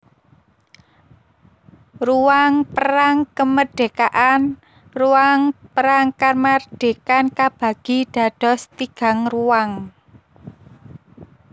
Ruang Perang KemerdekaanRuang Perang Kamardikan kabagi dados tigangruang